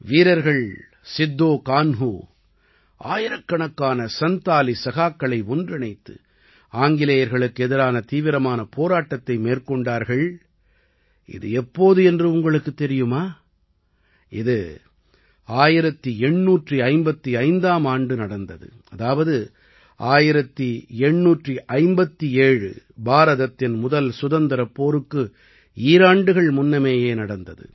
வீரர்கள் சித்தோ கான்ஹூ ஆயிரக்கணக்கான சந்தாலி சகாக்களை ஒன்றிணைத்து ஆங்கிலேயர்களுக்கு எதிரான தீவிரமான போராட்டத்தை மேற்கொண்டார்கள் இது எப்போது என்று உங்களுக்குத் தெரியுமா இது 1855ஆம் ஆண்டு நடந்தது அதாவது 1857 பாரதத்தின் முதல் சுதந்திரப் போருக்கு ஈராண்டுகள் முன்னமேயே நடந்தது